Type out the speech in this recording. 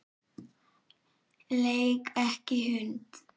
Leik ekki hund.